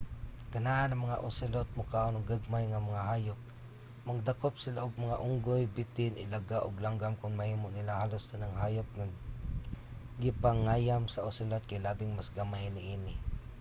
ganahan ang mga ocelot mokaon og gagmay nga mga hayop. mangdakop sila og mga unggoy bitin ilaga ug langgam kon mahimo nila. halos tanang hayop nga ginapangayam sa ocelot kay labing mas gamay niini